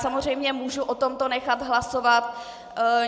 Samozřejmě, mohu o tomto nechat hlasovat.